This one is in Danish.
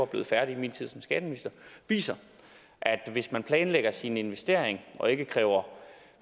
blev færdig i min tid som skatteminister viser at hvis man planlægger sin investering og ikke kræver